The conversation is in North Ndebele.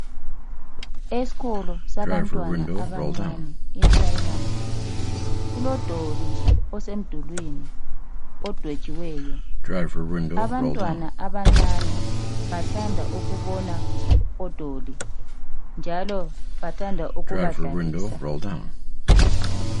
Esikolo sabantwana abancane iphuremari kulodoli osemdulwini odwetshiweyo. Abantwana abancane bathanda ukubona odoli njalo bathanda ukubadlalisa.